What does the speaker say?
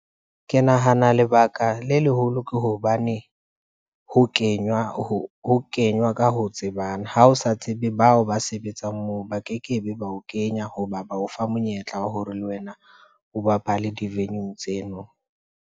Ke nahana lebaka le leholo ke hobane, ho kenywa ka ho tsebana. Ha o sa tsebe bao ba sebetseng moo, ba kekebe ba o kenya hoba ba ofa monyetla wa hore le wena o bapale di-venue-ng tseno.